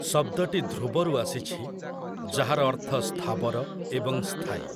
ଶବ୍ଦଟି 'ଧ୍ରୁବ'ରୁ ଆସିଛି, ଯାହାର ଅର୍ଥ ସ୍ଥାବର ଏବଂ ସ୍ଥାୟୀ ।